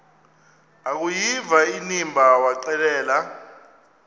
akuyiva inimba waxelela